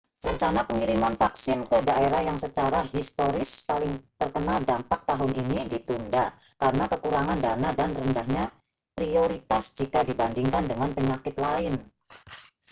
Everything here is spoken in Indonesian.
rencana pengiriman vaksin ke daerah yang secara historis paling terkena dampak tahun ini ditunda karena kekurangan dana dan rendahnya prioritas jika dibandingkan dengan penyakit lain